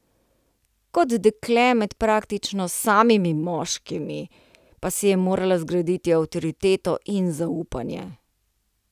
Kot dekle med praktično samimi moškimi, pa si je morala zgraditi avtoriteto in zaupanje.